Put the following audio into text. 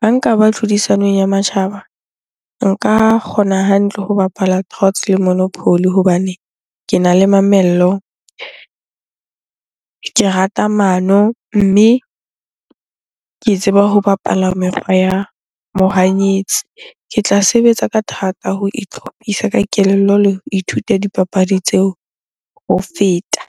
Ha nkaba tlhodisanong ya matjhaba nka kgona hantle ho bapala le monopoly hobane kena le mamello, ke rata mano mme ke tseba ho bapala mekgwa ya mohanyetsi. Ke tla sebetsa ka thata ho itlhophisa ka kelello le ho ithuta dipapadi tseo ho feta.